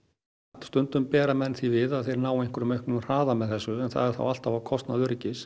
stundum bera menn því við að þeir nái einhverjum auknum hraða með þessu en það er þá alltaf á kostnað öryggis